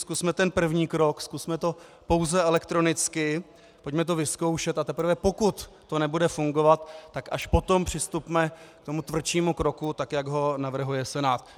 Zkusme ten první krok, zkusme to pouze elektronicky, pojďme to vyzkoušet, a teprve pokud to nebude fungovat, tak až potom přistupme k tomu tvrdšímu kroku, tak jak ho navrhuje Senát.